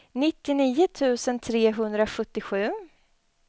nittionio tusen trehundrasjuttiosju